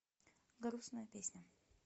грустная песня